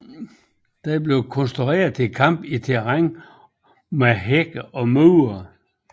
Den blev konstrueret til kamp i terræn med hække og mure